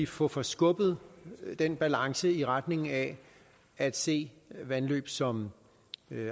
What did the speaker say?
få forskubbet den balance i retning af at se vandløb som